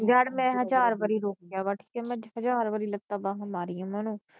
ਯਾਰ ਮੈ ਹਜ਼ਾਰ ਵਾਰੀ ਰੋਕਿਆ ਵਾ ਠੀਕ ਆ ਮੈ ਹਜ਼ਾਰ ਵਾਰੀ ਲੱਤਾ ਬਾਹਾਂ ਮਾਰੀਆ ਓਹਨਾ ਨੂੰ